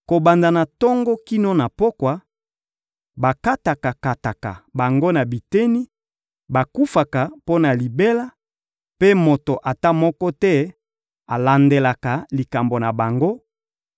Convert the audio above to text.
Kobanda na tongo kino na pokwa, bakataka-kataka bango na biteni; bakufaka mpo na libela, mpe moto ata moko te alandelaka likambo na bango;